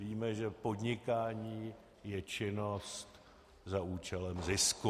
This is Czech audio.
Víme, že podnikání je činnost za účelem zisku.